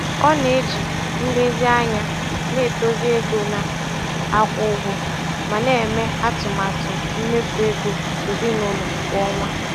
Ọ na-eji nlezianya na-edozi ego na-akwụ ụgwọ ma na-eme atụmatụ mmefu ego ezinụlọ kwa ọnwa.